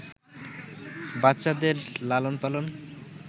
বাচ্চাদের লালনপালন